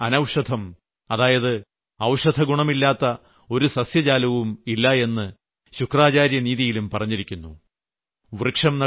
നാസ്തിമൂലം അനൌഷധം അതായത് ഔഷധഗുണമില്ലാത്ത ഒരു സസ്യജാലവും ഇല്ലായെന്ന് ശുക്രാചാര്യനീതിയിലും പറഞ്ഞിരിക്കുന്നു